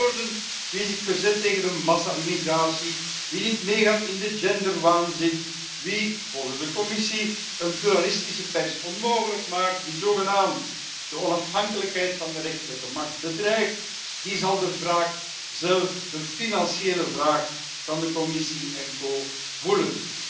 Met andere woorden, wie zich verzet tegen de massa immigratie, wie niet meegaat in de genderwaanzin, wie volgens de Commissie een pluralistische pers onmogelijk maakt, wie zogenaamd de onafhankelijkheid van de rechterlijke macht bedreigt, die zal de wraak de financiële wraak van de Commissie en co zelf voelen.